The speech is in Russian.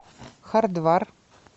хардвар